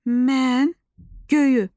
Mən göyü.